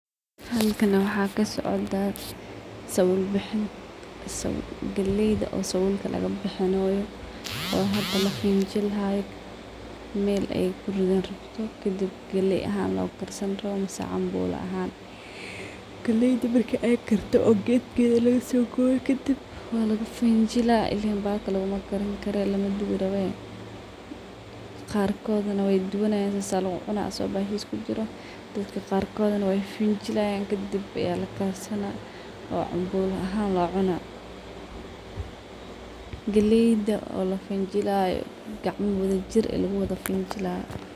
Halkan waxaa kasocdaa sabuul bixin, galeyda oo sabuulka laga bixinaayo, kadib lakarsan rabo, cambuula ahaan, qaarkooda tabtiisa ayeey ku cunaayan, galeyda oo la fanjilaayo.